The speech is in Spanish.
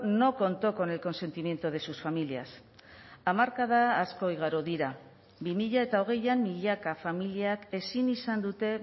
no contó con el consentimiento de sus familias hamarkada asko igaro dira bi mila hogeian milaka familiak ezin izan dute